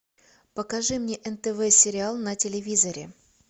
покажи мне нтв сериал на телевизоре